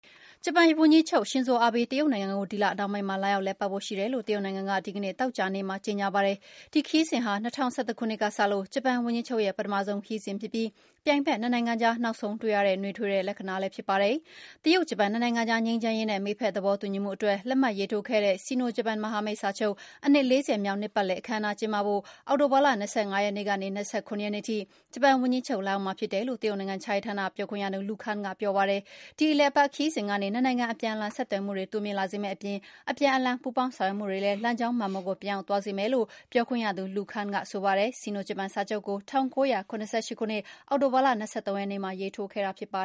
ဂျပန်ဝန်ကြီးချုပ် ရှင်ဇိုအာဘေး တရုတ်နိုင်ငံကို ဒီလနှောင်းပိုင်းမှာ လာရောက်လည်ပတ်ဖို့ရှိတယ်လို့ တရုတ်နိုင်ငံက ဒီကနေ့ သောကြာနေ့မှာ ကြေငြာပါတယ်။ ဒီခရီးစဉ်ဟာ ၂၀၁၁ ခုနှစ် ကစလို့ ဂျပန်ဝန်ကြီးချုပ်ရဲ့ ပထမဆုံး ခရီးစဉ်ဖြစ်ပြီး ပြိုင်ဘက်နှစ်နိုင်ငံကြား နောက်ဆုံးတွေ့ရတဲ့ နွေးထွေးတဲ့ လက္ခဏာလည်းဖြစ်ပါတယ်။ တရုတ်-ဂျပန် နှစ်နိုင်ငံကြား ငြိမ်းချမ်းရေးနဲ့ မိတ်ဖက်သဘောတူညီမှုအတွက် လက်မှတ်ရေးထိုးခဲ့တဲ့ Sino-Japan မဟာမိတ်စာချုပ် အနှစ် ၄၀ မြောက်နှစ်ပတ်လည် အခမ်းအနား ကျင်းပဖို့ အောက်တိုဘာလ ၂၅ ရက်နေ့ကနေ ၂၇ ရက်နေ့ထိ ဂျပန်ဝန်ကြီးချုပ် လာရောက်မှာဖြစ်တယ်လို့ တရုတ်နိုင်ငံခြားရေးဌာန ပြောခွင့်ရသူ Lu Kang ကပြောပါတယ်။ ဒီအလည်အပတ်ခရီးစဉ်ကနေ နှစ်နိုင်ငံအပြန်အလှန် ဆက်သွယ်မှုတွေ တိုးမြှင့်လာစေမယ့်အပြင်၊ အပြန်အလှန် ပူးပေါင်းဆောင်ရွက်မှုတွေလည်း လမ်းကြောင်းမှန်ပေါ်ကို ပြန်ရောက်သွားစေမယ်လို့ ပြောခွင့်ရသူ Lu Kang ကဆိုပါတယ်။ Sino-Japan စာချုပ်ကို ၁၉၇၈ ခုနှစ်၊ အောက်တိုဘာလ ၂၃ရက်နေ့မှာ ရေးထိုးခဲ့တာပါ